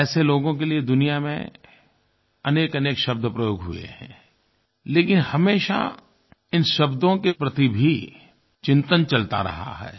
और ऐसे लोगों के लिए दुनिया में अनेकअनेक शब्द प्रयोग हुए हैं लेकिन हमेशा इन शब्दों के प्रति भी चिंतन चलता रहा है